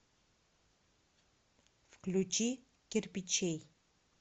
включи кирпичей